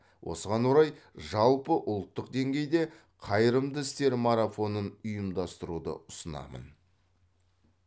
осыған орай жалпыұлттық деңгейде қайырымды істер марафонын ұйымдастыруды ұсынамын